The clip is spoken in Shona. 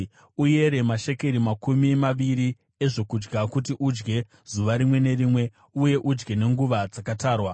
Uyere mashekeri makumi maviri ezvokudya kuti udye zuva rimwe nerimwe uye udye nenguva dzakatarwa.